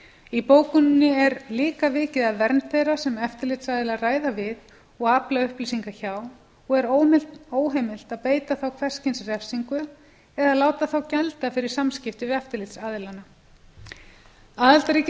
í bókuninni er líka vikið að vernd þeirra sem eftirlitsaðilar ræða við og afla upplýsinga hjá og er óheimilt að beita þá hvers kyns refsingu eða láta þá gjalda fyrir samskipti við eftirlitsaðilana aðildarríkin hafa